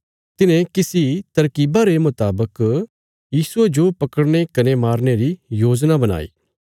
तिन्हें किसी तरकीबा रे मुतावक यीशुये जो पकड़ने कने मारने री योजना बणाई